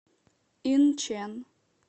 инчэн